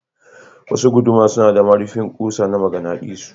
Wasu guduma suna da marifin kusa na maganadisu.